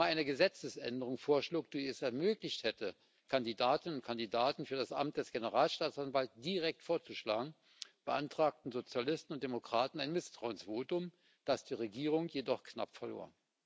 8. November eine Gesetzesänderung vorschlug, die es ermöglicht hätte, Kandidatinnen und Kandidaten für das Amt des Generalstaatsanwalts direkt vorzuschlagen, beantragten Sozialisten und Demokraten ein Misstrauensvotum, das die Regierung knapp verlor.